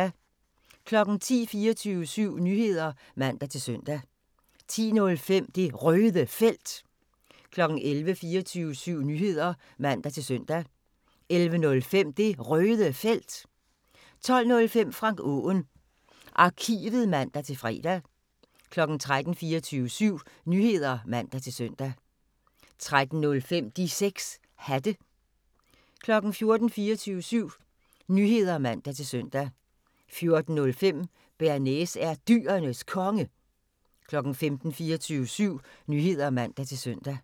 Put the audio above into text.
10:00: 24syv Nyheder (man-søn) 10:05: Det Røde Felt 11:00: 24syv Nyheder (man-søn) 11:05: Det Røde Felt 12:05: Frank Aaen Arkivet (man-fre) 13:00: 24syv Nyheder (man-søn) 13:05: De 6 Hatte 14:00: 24syv Nyheder (man-søn) 14:05: Bearnaise er Dyrenes Konge 15:00: 24syv Nyheder (man-søn)